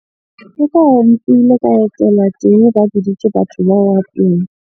Ka etela teng, ba biditse batho teng.